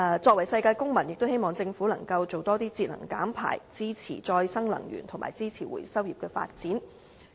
作為世界公民，也希望政府能夠多推動節能減排，支持再生能源和支持回收業的發展。